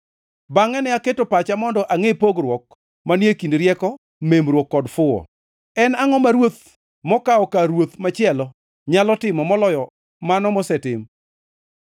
Bangʼe ne aketo pacha mondo angʼe pogruok manie kind rieko, memruok kod fuwo. En angʼo ma ruoth mokawo kar ruoth machielo nyalo timo moloyo mano mosetim?